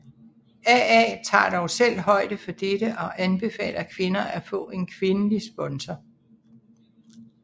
AA tager dog selv højde for dette og anbefaler kvinder at få en kvindelig sponsor